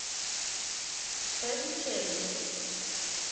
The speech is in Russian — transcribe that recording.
фэнчэн